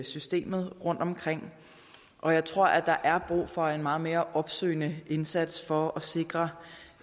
systemet rundtomkring og jeg tror at der er brug for en meget mere opsøgende indsats for at sikre